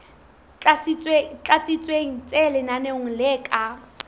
tlatsitsweng tse lenaneong le ka